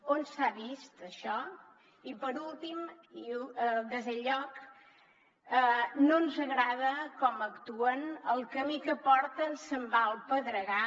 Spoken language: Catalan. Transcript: on s’ha vist això i per últim i desè lloc no ens agrada com actuen el camí que porten se’n va al pedregar